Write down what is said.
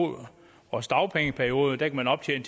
års dagpengeperiode kan optjene